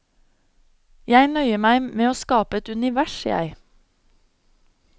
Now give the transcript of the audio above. Jeg nøyer meg med å skape et univers, jeg.